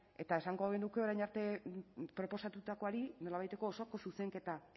eta esango genuke orain arte proposatutakoari nolabaiteko osoko zuzenketa